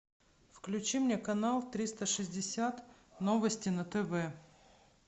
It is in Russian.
включи мне канал триста шестьдесят новости на тв